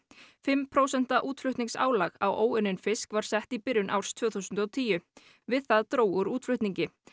fimm prósenta útflutningsálag á óunnin fisk var sett í byrjun árs tvö þúsund og tíu við það dró úr útflutningi